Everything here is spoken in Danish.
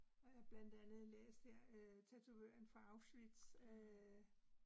Og jeg blandt andet læst her øh Tatovøren fra Auschwitz øh